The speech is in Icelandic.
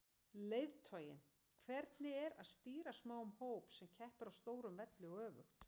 Leiðtoginn, hvernig er að stýra smáum hóp sem keppir á stórum velli og öfugt?